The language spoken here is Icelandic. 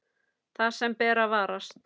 Það sem ber að varast